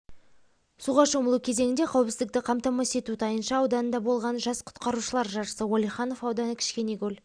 суға шомылу кезеңінде қауіпсіздікті қамтамасыз ету тайынша ауданында болған жас құтқарушылар жарысы уәлиханов ауданы кішкенекөл